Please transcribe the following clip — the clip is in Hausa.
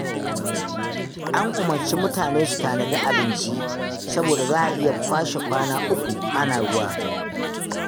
An umarci mutane su tanadi abinci, saboda za a iya kwashe kwana uku ana ruwa.